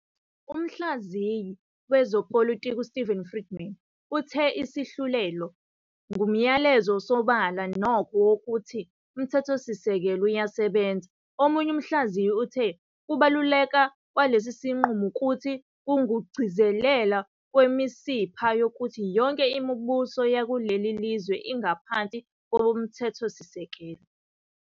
Umhlaziyi wezepolitiki uSteven Friedman uthe isahlulelo "ngumyalezo osobala nokho wokuthi uMthethosisekelo uyasebenza", omunye umhlaziyi uthe ukubaluleka kwalesi sinqumo ukuthi "kungukugcizelela kwemisipha yokuthi yonke imibuso kuleli lizwe ingaphansi koMthethosisekelo".